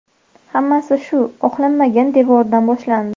Hammasi shu oqlanmagan devordan boshlandi.